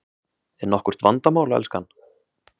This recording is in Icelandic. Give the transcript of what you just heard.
Er nokkurt vandamál, elskan?